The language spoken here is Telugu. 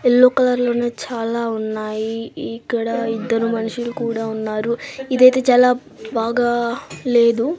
యెల్లో కలర్ లోన చాలా ఉన్నాయి. ఇక్కడ ఇద్దరు మనుషులు కూడా ఉన్నారు. ఇదైతే చాలా బాగా లేదు.